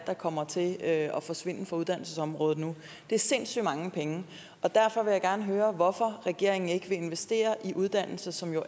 kommer til at at forsvinde fra uddannelsesområdet det er sindssygt mange penge og derfor vil jeg gerne høre hvorfor regeringen ikke vil investere i uddannelse som jo